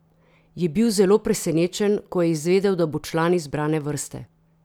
Je bil zelo presenečen, ko je izvedel, da bo član izbrane vrste?